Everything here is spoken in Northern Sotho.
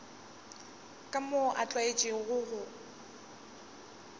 ka moo a tlwaetšego go